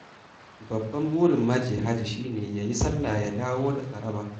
Babban burin maje hajji shi ne ya yi sallah, ya dawo da tsaraba.